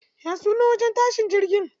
Ya sunan wajen tashin jirgi?